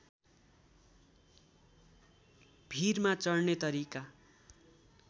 भीरमा चढ्ने तरिका